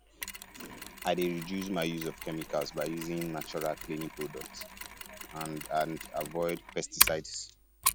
i dey reduce my use of chemicals by using natural cleaning products and and avoid pesticides